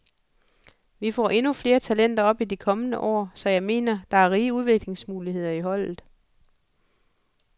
Vi får endnu flere talenter op i de kommende år, så jeg mener, der er rige udviklingsmuligheder i holdet.